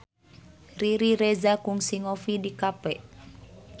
Riri Reza kungsi ngopi di cafe